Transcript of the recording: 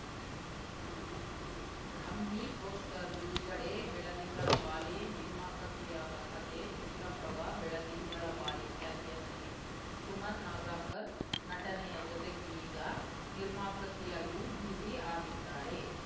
ಬ್ರಾಹ್ಮಿ poster ಬಿಡುಗಡೆ ಬೆಳದಿಂಗಳ ಬಾಲೆ ನಿರ್ಮಾಪಕಿಯಾದ ಕತೆ ಚಿತ್ರಪ್ರಭ ಬೆಳದಿಂಗಳ ಬಾಲೆ ಖ್ಯಾತಿಯ ನಟಿ ಸುಮನ್‌ ನಗರ್ ಕರ್ ನಟನೆಯ ಜತೆಗೀಗ ನಿರ್ಮಾಪಕಿಯಾಗಿಯೂ ಬ್ಯುಸಿ ಆಗಿದ್ದಾರೆ